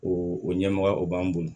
O o ɲɛmɔgɔya o b'an bon